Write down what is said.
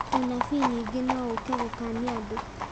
ũnabii ningĩ no ũke gũkania andũ